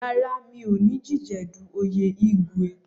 Rárá, mi ò ní díjedu oyè Igwu.